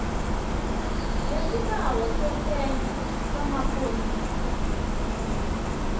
ngesibanga sesenzo samapholisa